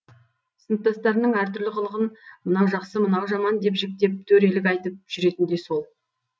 сыныптастарының әртүрлі қылығын мынау жақсы мынау жаман деп жіктеп төрелік айтып жүретін де сол